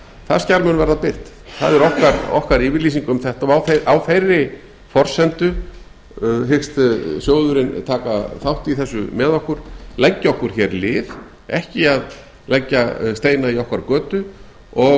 það skjal mun verða birt það er okkar yfirlýsing um þetta og á þeirri forsendu hyggst sjóðurinn taka þátt í þessu með okkur leggja okkur lið ekki leggja steina í okkar götu og